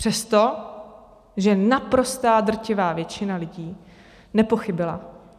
Přesto, že naprostá, drtivá většina lidí nepochybila.